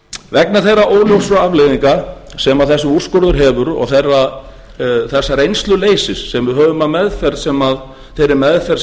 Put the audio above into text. vegna þeirra óljósu afleiðinga sem þessi úrskurður hefur og þess reynsluleysis sem við höfum af þeirri meðferð